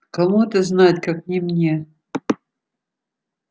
кому это знать как не мне